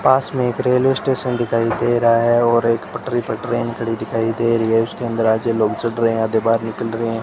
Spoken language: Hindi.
पास मे एक रेलवे स्टेशन दिखाई दे रहा है और एक पटरी पर ट्रेन खड़ी दिखाई दे रही है उसके अंदर आधे लोग चढ़ रहे है आधे बाहर निकल रहे है।